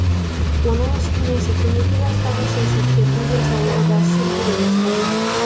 оның үстіне сексен екі жастағы саясаткердің денсаулығы да сыр бере бастаған